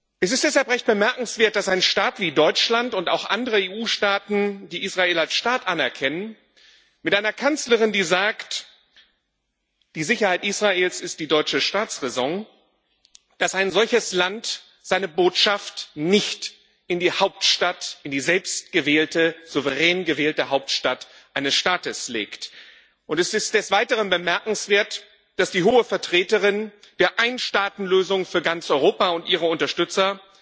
Es ist deshalb recht bemerkenswert, dass ein Staat wie Deutschland und auch andere EU Staaten, die Israel als Staat anerkennen, mit einer Kanzlerin, die sagt Die Sicherheit Israels ist die deutsche Staatsräson dass ein solches Land seine Botschaft nicht in die Hauptstadt, in die selbstgewählte, souverän gewählte Hauptstadt eines Staates legt. Und es ist des Weiteren bemerkenswert, dass die Hohe Vertreterin die Einstaatenlösung für ganz Europa und ihre Unterstützer